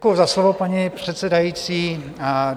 Děkuji za slovo, paní předsedající.